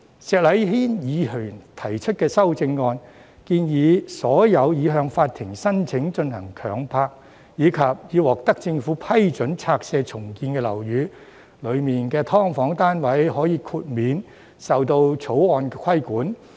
石禮謙議員提出的修正案建議，在所有已向法庭申請進行強拍，以及已獲政府批准拆卸重建的樓宇中的"劏房"單位，可以獲豁免受《條例草案》規管。